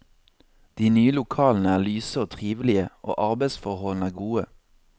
De nye lokalene er lyse og trivelige, og arbeidsforholdene er gode.